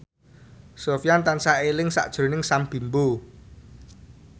Sofyan tansah eling sakjroning Sam Bimbo